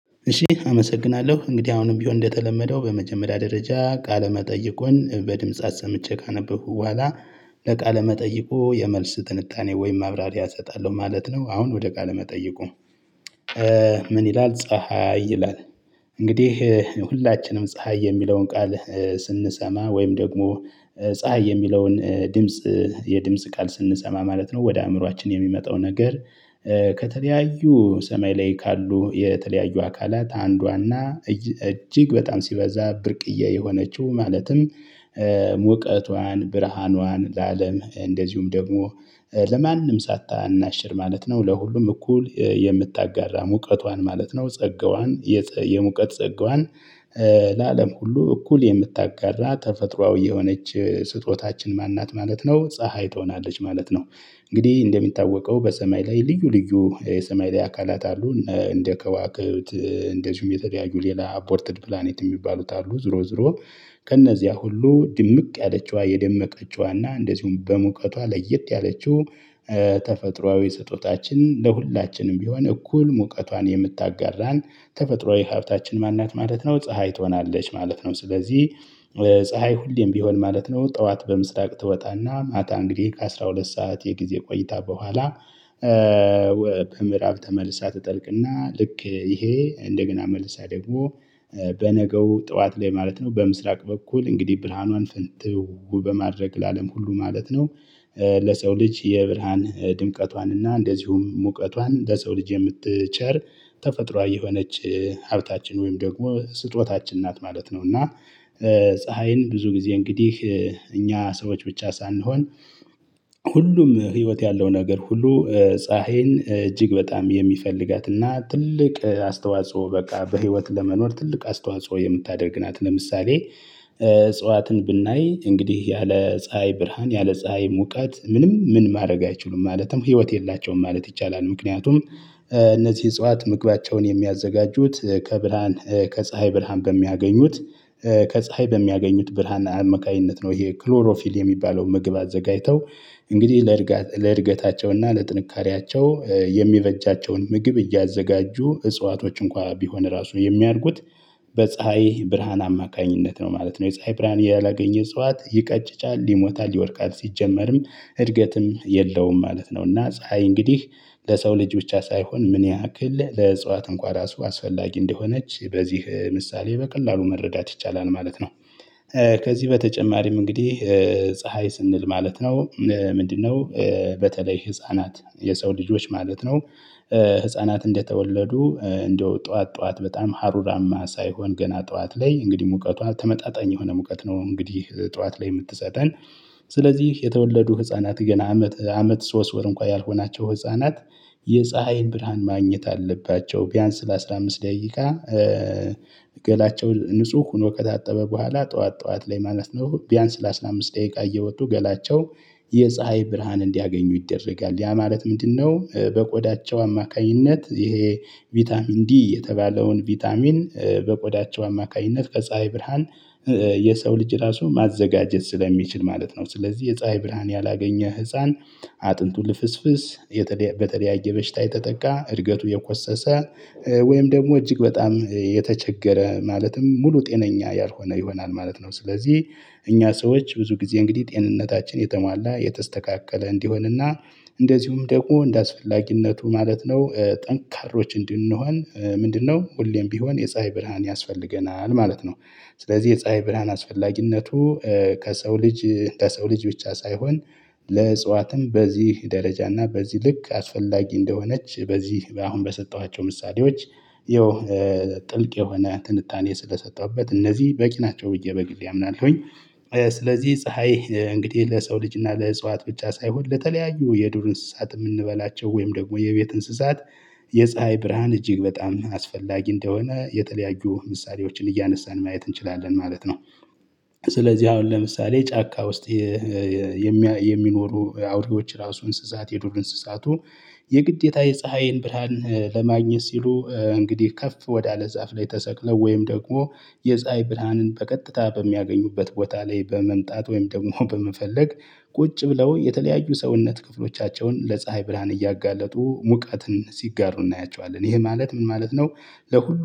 እሺ አመሰግናለሁ እንግዲህ አሁንም ቢሆን እንደተለመደው በመጀመሪያ ደረጃ ቃለ መጠየቁን በድምፃ ሰምቼ ካነበብኩ በኋላ ለቃለ መጠይቁ የመልስ ትንታኔ ወይም ማብራሪያ እሰጣለሁ ማለት ነው። አሁን ወደ ቃለ መጠይቁ ምን ይላል ፀሀይ ይላል? እንግዲህ ሁላችንም ፀሀይ የሚለውን ቃል ስንሰማ ወይም ደግሞ ፀሀይ የሚለውን ድምጽ የድምጽ ቃል ስንሰማ ማለት ነው ወደ አእምሮአችን የሚመጣው ነገር። ከተለያዩ ሰማይ ላይ ካሉ የተለያዩ አካላት አንዷና እጅግ በጣም ሲበዛ ብርቅዬ የሆነችው ማለትም። ሙቀቷን ብርሃኗን ለአለም እንደዚሁም ደግሞ ለማንም ሳታናሽር ማለት ነው ለሁሉም እኩል የምታጋራ ሙቀቷን ማለት ነው ጸጋዋን የሙቀት ጸጋዋን ለአለም ሁሉ እኩል የምታጋራ ተፈጥሮአዊ የሆነች ስጦታችን ማን ናት ማለት ነው ፀሀይ ትሆናለች ማለት ነው። እንግዲህ እንደሚታወቀው በሰማይ ላይ ልዩ ልዩ የሰማይ ላይ አካላት አሉ እንደ ከዋክብት እንደዚሁም የተለያዩ ሌላ አፖርትድ ፕላኔት የሚባሉት አሉ ዞሮ ዞሮ። ከነዚያ ሁሉ ድምቅ ያለችዋ የደመቀችዋ እና እንደዚሁም በሙቀቷ ለየት ያለችው። ተፈጥሮአዊ ስጦታችን ለሁላችንም ቢሆን እኩል ሙቀቷን የምታጋራን ተፈጥሮአዊ ሀብታችን ማን ናት ማለት ነው ፀሀይ ትሆናለች ማለት ነው። ስለዚህ ፀሀይ ሁሌም ቢሆን ማለት ነው ጠዋት በምስራቅ ትወጣና ማታ እንግዲህ ከ12 ሰዓት የጊዜ ቆይታ በኋላ። በምዕራብ ተመልሳ ትጠልቅና ልክ ይሄ እንደገና መልሳ ደግሞ በነገው ጠዋት ላይ ማለት ነው በምስራቅ በኩል እንግዲህ ብራሀኗን ፍንትው በማድረግ ለአለም ሁሉ ማለት ነው። ለሰው ልጅ የብርሃን ድምቀቷን እና እንደዚሁም ሙቀቷን ለሰው ልጅ የምትቸር ተፈጥሮአዊ የሆነች ሀብታችን ወይም ደግሞ ስጦታችን ናት ማለት ነው። እና ፀሀይን ብዙ ጊዜ እንግዲህ እኛ ሰዎች ብቻ ሳንሆን ሁሉም ህይወት ያለው ነገር ሁሉ ፀሀይን እጅግ በጣም የሚፈልጋትና ትልቅ አስተዋጽኦ በቃ በህይወት ለመኖር ትልቅ አስተዋጽኦ የምታደርግ ናት። ለምሳሌ እጽዋትን ብናይ እንግዲህ ያለ ፀሀይ ብርሃን ያለ ፀሀይ ሙቀት ምንም ምን ማድረግ አይችሉም ማለትም ህይወት የላቸውም ማለት ይቻላል። ምክንያቱም እነዚህ እጽዋት ምግባቸውን የሚያዘጋጁት ከብርሃን ከፀሀይ ብርሃን በሚያገኙት ከፀሀይ በሚያገኙት ብርሃን አመካኝነት ነው ይሄ ክሎሮፊል የሚባለውን ምግብ አዘጋጅተው። እንግዲህ ለእድገታቸውና ለጥንካሬያቸው የሚበጃቸውን ምግብ እያዘጋጁ እጽዋቶች እንኳን ቢሆን ራሱ የሚያድጉት በፀሀይ ብርሃን አማካኝነት ነው ማለት ነው። የፀሀይ ብርሃን ያላገኘ እፅዋት ይቀጭጫል ይሞታል ይወድቃል ሲጀመርም እድገትም የለውም ማለት ነው። እና ፀሀይ እንግዲህ ለሰው ልጅ ብቻ ሳይሆን ምን ያክል ለእጽዋት እንኳን ራሱ አስፈላጊ እንደሆነች በዚህ ምሳሌ በቀላሉ መረዳት ይቻላል ማለት ነው። ከዚህ በተጨማሪም እንግዲህ ፀሀይ ስንል ማለት ነው ምንድነው? በተለይ ህፃናት የሰው ልጆች ማለት ነው ህፃናት እንደተወለዱ እንደው ጠዋት ጠዋት በጣም ሀሩራማ ሳይሆን ገና ጠዋት ላይ እንግዲህ ሙቀቷ ተመጣጣኝ የሆነ ሙቀት ነው እንግዲህ ጠዋት ላይ የምትሰጠን። ስለዚህ የተወለዱ ህፃናት ገና አመት አመት ሶስት ወር እንኳን ያልሆናቸው ህፃናት የፀሀይን ብርሃን ማግኘት አለባቸው ቢያንስ ለ15 ደቂቃ። ገላቸው ንጹህ ሆኖ ከታጠበ በኋላ ጠዋት ጠዋት ላይ ማለት ነው ቢያንስ ለ15 ደቂቃ እየወጡ ገላቸው የፀሀይ ብርሃን እንዲያገኙ ይደረጋል ያ ማለት ምንድነው በቆዳቸው አማካኝነት ይሄ? ቫይታሚን ዲ የተባለውን ቫይታሚን በቆዳቸው አማካኝነት ከፀሀይ ብርሃን የሰው ልጅ ራሱ ማዘጋጀት ስለሚችል ማለት ነው። ስለዚህ የፀሀይ ብርሃን ያላገኘ ህፃን አጥንቱ ልፍስፍስ በተለያየ በሽታ የተጠቃ እድገቱ የኮሰሰ ወይም ደግሞ እጅግ በጣም የተቸገረ ማለትም ሙሉ ጤነኛ ያልሆነ ይሆናል ማለት ነው። ስለዚህ እኛ ሰዎች ብዙ ጊዜ እንግዲህ ጤንነታችን የተሟላ የተስተካከለ እንዲሆንና እንደዚሁም ደግሞ እንደአስፈላጊነቱ ማለት ነው ጠንካሮች እንድንሆን ምንድነው ሁሌም ቢሆን የፀሀይ ብርሃን ያስፈልገናል ማለት ነው። ስለዚህ የፀሀይ ብርሃን አስፈላጊነቱ ከሰው ልጅ ከሰው ልጅ ብቻ ሳይሆን ለእጽዋትም በዚህ ደረጃ እና በዚህ ልክ አስፈላጊ እንደሆነች በዚህ አሁን በሰጠኋቸው ምሳሌዎች ይኸው ጥልቅ የሆነ ትንታኔ ስለሰጠሁበት እነዚህ በቂ ናቸው ብዬ በግሌ አምናለሁኝ። ስለዚህ ፀሀይ እንግዲህ ለሰው ልጅ እና ለእጽዋት ብቻ ሳይሆን ለተለያዩ የዱር እንስሳት የምንበላቸው ወይም ደግሞ የቤት እንስሳት የፀሀይ ብርሃን እጅግ በጣም አስፈላጊ እንደሆነ የተለያዩ ምሳሌዎችን እያነሳን ማየት እንችላለን ማለት ነው። ስለዚህ አሁን ለምሳሌ ጫካ ውስጥ የሚኖሩ አውሬዎች ራሱ እንስሳት የዱር እንስሳቱ የግዴታ የፀሀይን ብርሃን ለማግኘት ሲሉ እንግዲህ ከፍ ወዳለ ዛፍ ላይ ተሰቅለው ወይም ደግሞ የፀሀይ ብርሃንን በቀጥታ በሚያገኙበት ቦታ ላይ በመምጣት ወይም ደግሞ በመፈለግ። ቁጭ ብለው የተለያዩ ሰውነት ክፍሎቻቸውን ለፀሀይ ብርሃን እያጋለጡ ሙቀትን ሲጋሩ እናያቸዋለን ይሄ ማለት ምን ማለት ነው? ለሁሉ